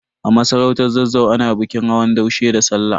A masarautar Zazzau, ana bikin hawan daushe da Sallah.